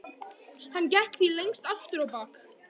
Hann gekk því lengst af aftur á bak.